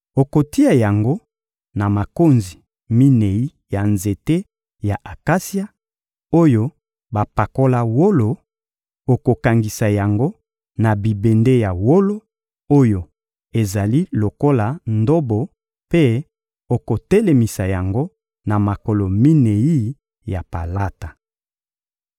Okotia yango na makonzi minei ya nzete ya akasia, oyo bapakola wolo; okokangisa yango na bibende ya wolo oyo ezali lokola ndobo mpe okotelemisa yango na makolo minei ya palata.